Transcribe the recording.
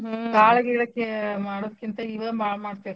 ಕಾಳ್ ಗೀಳ್ ಮಾಡೋದ್ಕಿಂತ ಇವ ಬಾಳ್ .